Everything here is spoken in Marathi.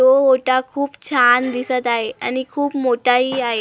तो ओटा खूप छान दिसत आहे आणि खूप मोठाही आहे.